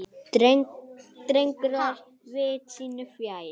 Drengur var viti sínu fjær.